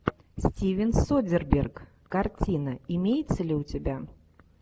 стивен содерберг картина имеется ли у тебя